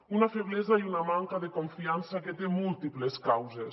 una feblesa i una manca de confiança que té múltiples causes